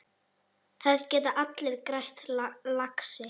Það geta allir grætt, lagsi.